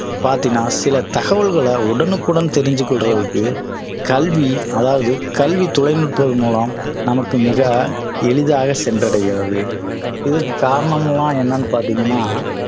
பாத்தீங்கன்னா சில தகவல்களை உடனுக்குடன் தெரிந்து கொள்ளறதுக்கு கல்வி அதாவது கல்வி தொலை நுட்பம் மூலம் நமக்கு மிக எளிதாக சென்றடைகிறது இதற்கு காரணம்லாம் என்னன்னு பார்த்தீங்கன்னா